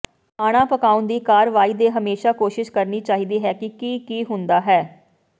ਖਾਣਾ ਪਕਾਉਣ ਦੀ ਕਾਰਵਾਈ ਦੇ ਹਮੇਸ਼ਾ ਕੋਸ਼ਿਸ਼ ਕਰਨੀ ਚਾਹੀਦੀ ਹੈ ਕਿ ਕੀ ਹੁੰਦਾ ਹੈ